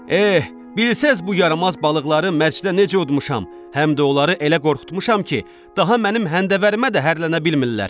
Eh, bilsəz bu yaramaz balıqları mərcdə necə udmuşam, həm də onları elə qorxutmuşam ki, daha mənim həndəvərimə də hərlənə bilmirlər.